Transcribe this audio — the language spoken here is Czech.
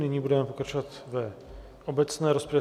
Nyní budeme pokračovat v obecné rozpravě.